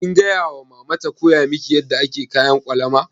Kin gaya wa mama ta koya miki yadda ake kayan ƙwalama?